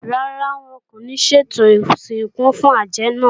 Rárá, wọn kò ní ṣètò ìsìnkú fún àjẹ́ náà